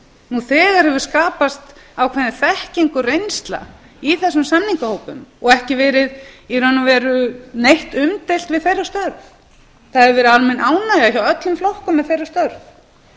nú þegar hefur skapast ákveðin þekking og reynsla í þessum samningahópum og ekki verið í raun og veru neitt umdeilt við þeirra störf það hefur verið almenn ánægja hjá öllum flokkum með þeirra störf